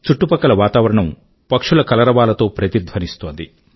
చుట్టుపక్కల వాతావరణం పక్షుల కలరవాలతో ప్రతిధ్వనిస్తోంది